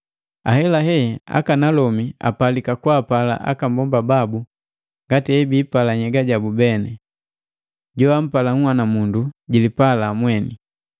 Ahelahe, akanalomi apalika kwaapala aka mbomba babu ngati hebiipala nhyega yabu beni. Joampala nhwanamundu jilipala mweni.